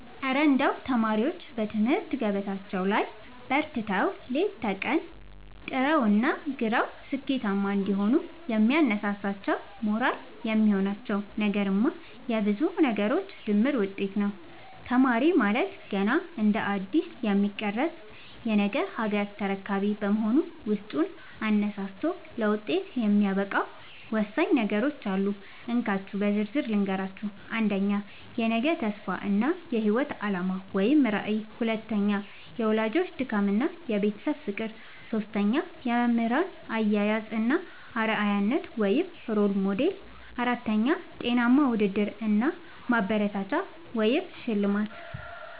እረ እንደው ተማሪዎች በትምህርት ገበታቸው ላይ በርትተው፣ ሌት ከቀን ጥረውና ግረው ስኬታማ እንዲሆኑ የሚያነሳሳቸውና ሞራል የሚሆናቸው ነገርማ የብዙ ነገሮች ድምር ውጤት ነው! ተማሪ ማለት ገና እንደ አዲስ የሚቀረጽ የነገ ሀገር ተረካቢ በመሆኑ፣ ውስጡን አነሳስቶ ለውጤት የሚያበቃው ወሳኝ ነገሮች አሉ፤ እንካችሁ በዝርዝር ልንገራችሁ - 1. የነገ ተስፋ እና የህይወት አላማ (ራዕይ) 2. የወላጆች ድካምና የቤተሰብ ፍቅር 3. የመምህራን አያያዝ እና አርአያነት (Role Model) 4. ጤናማ ውድድር እና ማበረታቻ (ሽልማት)